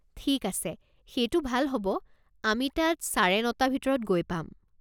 ঠিক আছে সেইটো ভাল হ'ব আমি তাত চাৰে নটা ভিতৰত গৈ পাম।